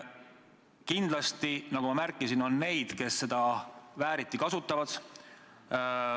Nagu ka mina märkisin, kindlasti on neid, kes seda vääriti kasutavad.